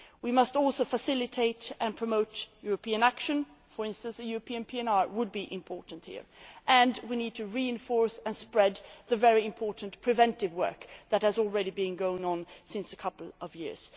We must also facilitate and promote European action, for instance a European PNR would be important here. We need to reinforce and spread the very important preventive work that has already been going on for a couple of